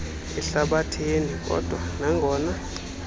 ehlabathini kodwa nangona